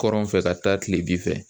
Kɔrɔn fɛ ka taa kilebin fɛ.